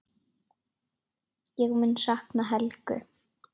Ég mun sakna Helgu.